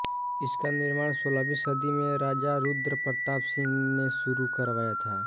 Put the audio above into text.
इसका निर्माण सोलहवीं सदी में राजा रुद्र प्रताप सिंह ने शुरू करवाया था